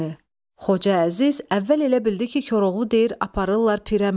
Xoca Əziz əvvəl elə bildi ki, Koroğlu deyir: "Aparırlar pirə məni."